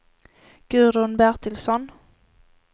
Gudrun Bertilsson